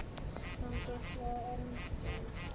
Gangið frá endum.